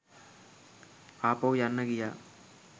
ආපහු යන්න ගියා